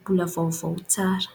Mbola vaovao tsara.